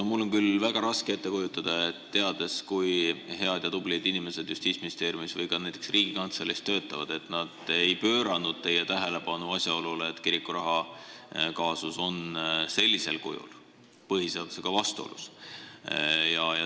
No mul on küll väga raske ette kujutada, teades, kui head ja tublid inimesed töötavad Justiitsministeeriumis või ka näiteks Riigikantseleis, et nad ei pööranud teie tähelepanu asjaolule, et kirikuraha kaasus on sellisel kujul põhiseadusega vastuolus.